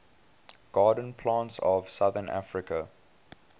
garden plants of southern africa